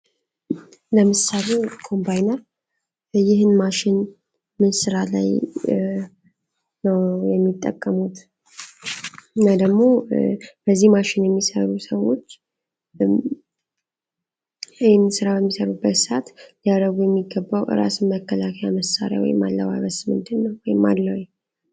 ለምሳሌ ኮምባይነር ምን ስራ ላይ ነው የሚጠቀሙት እና ደግሞ በዚህ ማሽን የሚሰሩ ሰዎች ይህንን ስራ በሚሰራበት ሰአት ያድርጉ የሚገባቸው መከላከያ መሳሪያ ወይም አለባበስ ምንድነው አለ ወይ?